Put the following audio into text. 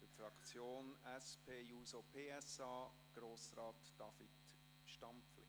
Für die Fraktion SP-JUSO-PSA: Grossrat David Stampfli.